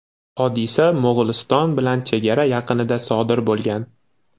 Hodisa Mo‘g‘uliston bilan chegara yaqinida sodir bo‘lgan.